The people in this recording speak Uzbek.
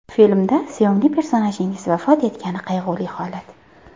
Filmda sevimli personajingiz vafot etgani qayg‘uli holat.